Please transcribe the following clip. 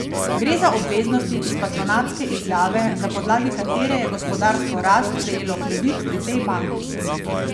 Gre za obveznosti iz patronatske izjave, na podlagi katere je Gospodarstvo Rast prejelo kredit pri tej banki.